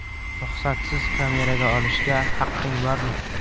Ruxsatsiz kameraga olishga haqqing bormi?